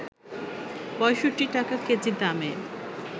৬৫ টাকা কেজি দামে